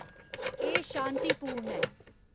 एह् शांतिपूर्ण ऐ